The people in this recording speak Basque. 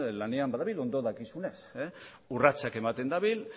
lanean badabil ondo dakizuenez urratsak ematen dabil